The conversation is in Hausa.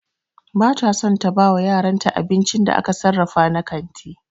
Ba ta son ta bawa yaranta abincin da aka sarrafa na kanti.